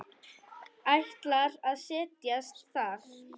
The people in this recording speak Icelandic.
Ætlar að set jast þar.